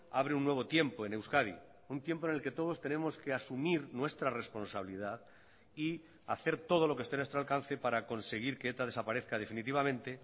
abre un nuevo tiempo en euskadi un tiempo en el que todos tenemos que asumir nuestra responsabilidad y hacer todo lo que esté en nuestro alcance para conseguir que eta desaparezca definitivamente